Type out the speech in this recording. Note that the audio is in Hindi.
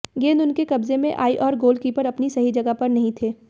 गेंद उनके कब्जे में आई और गोलकीपर अपनी सही जगह पर नहीं थे